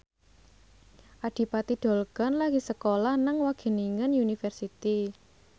Adipati Dolken lagi sekolah nang Wageningen University